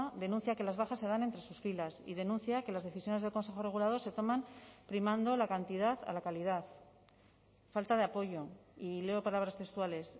denuncia que las bajas se dan entre sus filas y denuncia que las decisiones del consejo regulador se toman primando la cantidad a la calidad falta de apoyo y leo palabras textuales